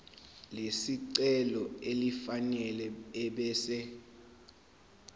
lesicelo elifanele ebese